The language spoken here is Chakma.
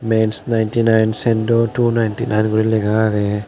men's ninety nine sando two ninety nine guri lega agey.